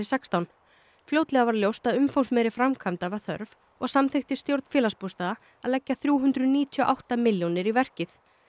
sextán fljótlega varð ljóst að umfangsmeiri framkvæmda var þörf og samþykkti stjórn Félagsbústaða að leggja þrjú hundruð níutíu og átta milljónir í verkið